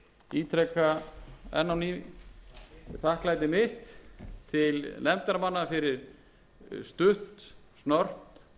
ítreka enn á ný þakklæti mitt til nefndarmanna fyrir stutt og snörp vinnubrögð varðandi